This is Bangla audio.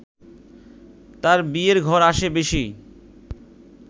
তাঁর বিয়ের ঘর আসে বেশি